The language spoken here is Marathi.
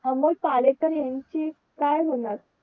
अमोल पालेकर यांची काय होणार.